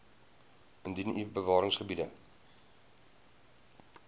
indien u bewaringsgebiede